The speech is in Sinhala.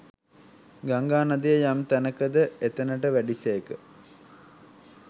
ගංගා නදිය යම් තැනක ද එතැනට වැඩි සේක